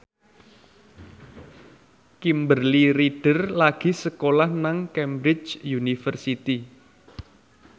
Kimberly Ryder lagi sekolah nang Cambridge University